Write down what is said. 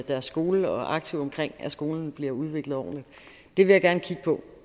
deres skole og aktive omkring at skolen bliver udviklet ordentligt det vil jeg gerne kigge på